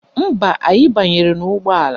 Mba, anyị banyere n'ụgbọala